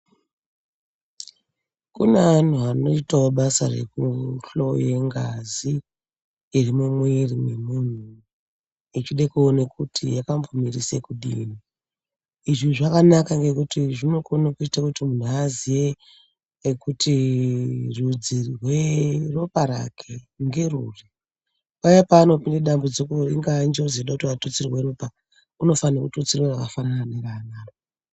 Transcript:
Kune antu anoitavo basa rekuhloye ngazi iri mumwiri memuntu, echide kuone kuti yakambomirise kudini. Izvi zvakanaka ngekuti zvinokone kuti muntu aziye kwekuti rudzi rweropa rake ngeruri. Paya paanopinde damudziko ringaa njodzi inoda kuti atutsire ropa unofanirwe kututsirwe rakafanana nerake.